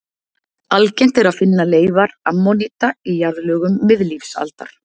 Algengt er að finna leifar ammoníta í jarðlögum miðlífsaldar.